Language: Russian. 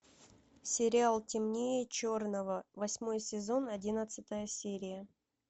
сериал темнее черного восьмой сезон одиннадцатая серия